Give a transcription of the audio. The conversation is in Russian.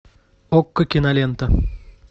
окко кинолента